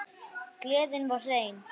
Gleðin var hrein.